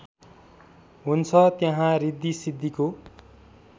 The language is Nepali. हुन्छ त्यहाँ ऋद्धिसिद्धिको